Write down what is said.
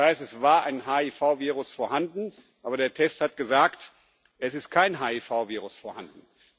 Das heißt, es war ein HIV-Virus vorhanden, aber der Test hat gesagt, es sei kein HIV-Virus vorhanden.